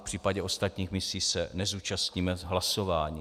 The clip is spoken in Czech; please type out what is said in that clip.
V případě ostatních misí se nezúčastníme hlasování.